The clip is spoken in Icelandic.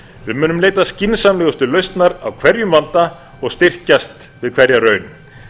við munum leita skynsamlegustu lausnar á hverjum vanda og styrkjast við hverja raun